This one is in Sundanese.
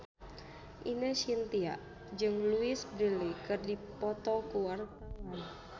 Ine Shintya jeung Louise Brealey keur dipoto ku wartawan